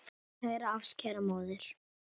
Mín kæra ástkæra móðir.